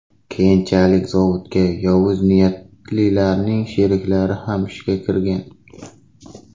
Keyinchalik zavodga yovuz niyatlilarning sheriklari ham ishga kirgan.